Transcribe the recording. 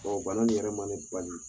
ŋualon min yɛrɛ ma ni